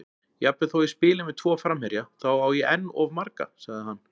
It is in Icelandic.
Jafnvel þó ég spili með tvo framherja, þá á ég enn of marga, sagði hann.